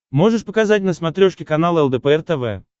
можешь показать на смотрешке канал лдпр тв